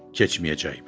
Keçməyəcəkmi?